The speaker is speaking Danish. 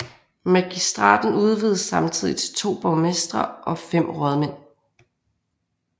Magistraten udvidedes samtidig til 2 borgmestre og 5 rådmænd